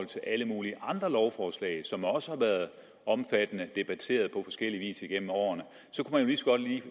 til alle mulige andre lovforslag som også har været omfattende debatteret på forskellig vis gennem årene